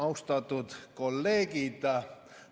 Austatud kolleegid!